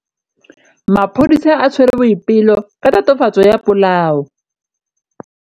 Maphodisa a tshwere Boipelo ka tatofatsô ya polaô.